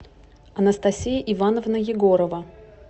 анастасия ивановна егорова